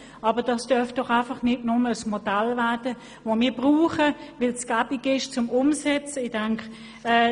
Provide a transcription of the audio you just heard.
Aber das darf doch einfach nicht ein Modell werden, das wir nur anwenden, weil es «gäbig» umzusetzen ist.